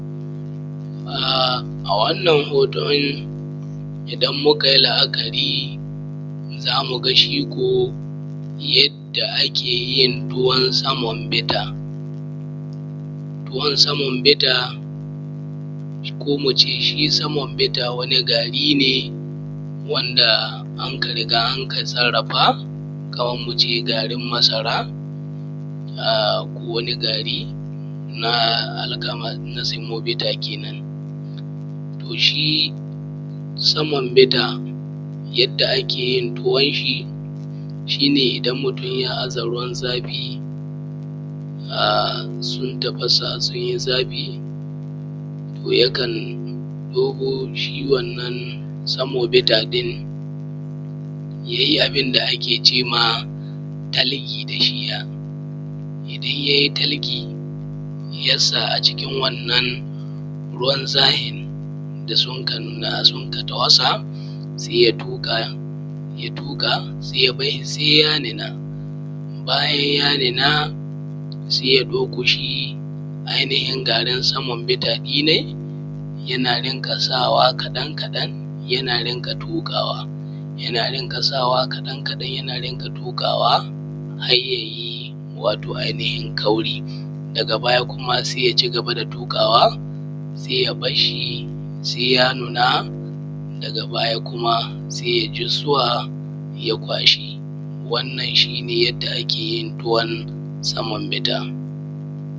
A a wannan hoton idan mukayimla’akari zamuga shiko yadda akeyin ruwan saman bidda. Ruwan saman bidda ko muce shi saman bida wani gari ne wanda aka riga anka sarrafa Kaman muve garin masara ko wani garina alkama na semanbita kenan. Shi samanbita yadda akeyin tuwon shi, shine idan mutun ya aza ruwan zafi sun tafasa sunyi yo yakan ɗebo shi wannan semonbita ɗin yayi abin da akece dashi talgeya, idan yayi talge yasa a cikin wannan ruwan zafin da sunka numa sunka tafasa saiya tuƙa, ya tuƙa ya bari sai ya nuna. Bayan ya nuna sai ya ɗauko ai nihin garin saman bita ɗinai ya rinƙa sawa kaɗan kaɗan yana rinƙa tukawa, ya rinƙa sawa kaɗan kaɗan yana rinƙa tuƙawa har yayi ai nihin kauri daga kuma sai ya rinka tukawa ya barshi sai ya nuna daga baya kuma sai ya izuwa ya kwashe wannan shine yadda akeyin tuwon samanbita.